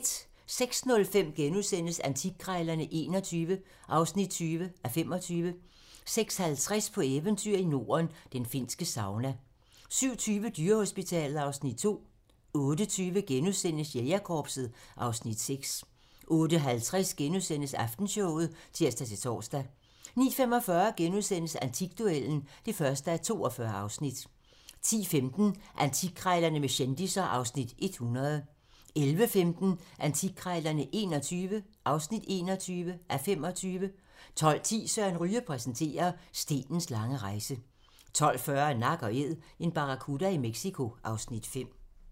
06:05: Antikkrejlerne XXI (20:25)* 06:50: På eventyr i Norden – den finske sauna 07:20: Dyrehospitalet (Afs. 2) 08:20: Jægerkorpset (Afs. 6)* 08:50: Aftenshowet *(tir-tor) 09:45: Antikduellen (1:42)* 10:15: Antikkrejlerne med kendisser (Afs. 100) 11:15: Antikkrejlerne XXI (21:25) 12:10: Søren Ryge præsenterer - stenens lange rejse 12:40: Nak & Æd - en barracuda i Mexico (Afs. 5)